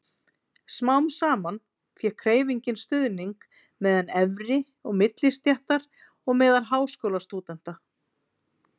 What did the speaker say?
Smám saman fékk hreyfingin stuðning meðal efri- og millistéttar og meðal háskólastúdenta.